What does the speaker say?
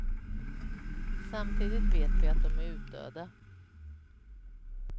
Samtidigt vet vi att de är utdöda.